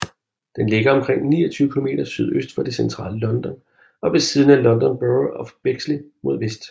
Den ligger omkring 29 km sydøst for det centrale London og ved siden af London Borough of Bexley mod vest